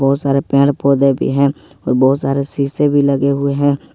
बहुत सारे पर पेड़ पौधे भी हैं और बहुत सारे शीशे भी लगे हुए हैं।